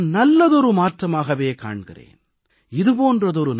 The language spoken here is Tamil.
இதை நான் நல்லதொரு மாற்றமாகவே காண்கிறேன்